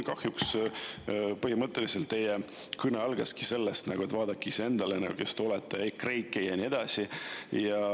Kahjuks teie kõne põhimõtteliselt algaski sellega, et vaadake iseennast, kes te olete, EKREIKE ja nii edasi.